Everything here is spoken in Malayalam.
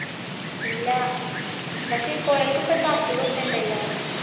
ഇല്ല പക്ഷെ കോഴികൾക്ക് ഇപ്പൊ എന്തോ അസുഖക്കെ ഉണ്ടല്ലോ